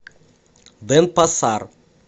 денпасар